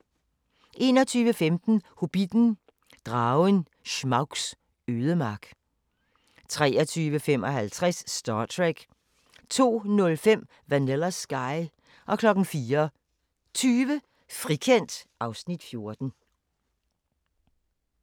21:15: Hobbitten: Dragen Smaugs ødemark 23:55: Star Trek 02:05: Vanilla Sky 04:20: Frikendt (Afs. 14)